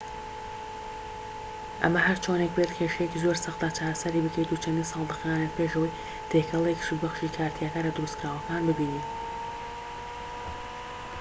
ئەمە هەرچۆنێک بێت کێشەیەکی زۆر سەختە چارەسەری بکەیت و چەندین ساڵ دەخایەنێت پێش ئەوەی تێکەڵەیەکی سوودبەخشی کارتیاکەرە دروستکراوەکان ببینن